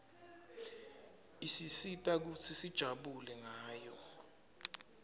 isisita kutsi sijabule ngayo